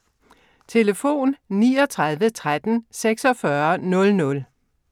Telefon: 39 13 46 00